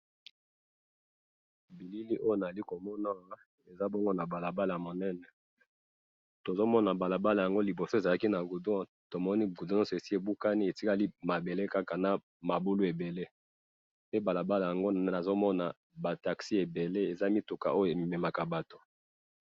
Na bilili oyo nazali komona awa eza bongo na balabala ya monene, tozomona balabala ango liboso ezalaki na goudron tomoni goudron nionso esi ebukani etikali mabele kaka na mabulu ebele pe balabala ango nazomona ba taxis ebele eza mituka oyo ememaka batu